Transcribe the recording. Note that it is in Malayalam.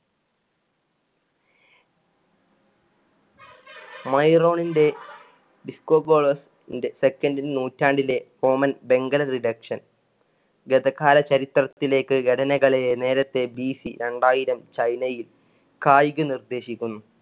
മൈറോണിന്‍ടെ second നൂറ്റാണ്ടിന്‍ടെ ഗധകാല ചിരിത്രത്തിലേക്ക് ഘടനകളെ നേരെത്തെ വീശി രണ്ടായിരം ചൈനയിൽ കായിക നിര്‍ദേശിക്കുന്നു.